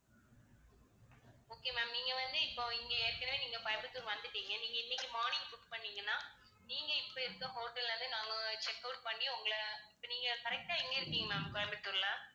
okay ma'am நீங்க வந்து இப்போ இங்க ஏற்கனவே நீங்கக் கோயம்புத்தூர் வந்துட்டீங்க. நீங்க இன்னைக்கு morning book பண்ணீங்கன்னா நீங்க இப்ப இருக்க hotel ல இருந்து நாங்க check out பண்ணி உங்களை இப்ப நீங்க correct ஆ எங்க இருக்கீங்க ma'am கோயம்புத்தூர்ல?